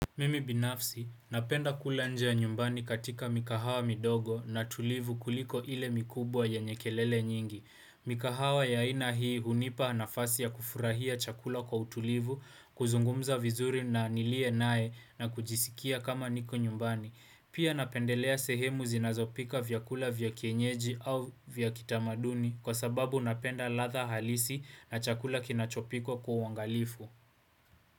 Mimi binafsi, napenda kula nje ya nyumbani katika mikahawa midogo na tulivu kuliko ile mikubwa yenye kelele nyingi. Mikahawa ya aina hii hunipa nafasi ya kufurahia chakula kwa utulivu, kuzungumza vizuri na niliye naye na kujisikia kama niko nyumbani. Pia napendelea sehemu zinazopika vyakula vya kienyeji au vya kitamaduni kwa sababu napenda ladha halisi na chakula kinachopikwa kwa uangalifu.